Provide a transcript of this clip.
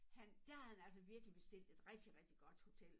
Han dér havde han altså virkelig bestilt et rigtig rigtig godt hotel